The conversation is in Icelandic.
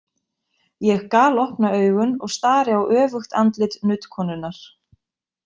Ég galopna augun og stari á öfugt andlit nuddkonunnar.